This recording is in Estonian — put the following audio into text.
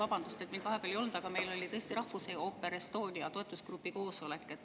Vabandust, et mind vahepeal ei olnud, meil oli tõesti Rahvusooper Estonia toetusgrupi koosolek.